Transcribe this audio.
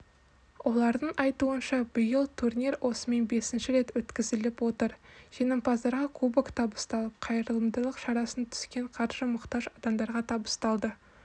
олардың айтуынша биыл турнир осымен бесінші рет өткізіліп отыр жеңімпаздарға кубок табысталып қайырымдылық шарасынан түскен қаржы мұқтаж адамдарға табысталады